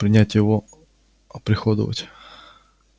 принять его оприходовать